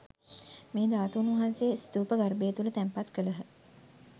මේ ධාතූන් වහන්සේ ස්තූප ගර්භය තුළ තැන්පත් කළහ.